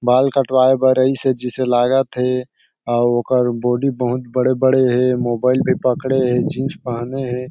बाल कटवाय बर आईस हे जैसे लागत हे और ओकर बॉडी बहुत बड़े -बड़े हे मोबाईल भी पकड़े हे जिन्स पहने हे ।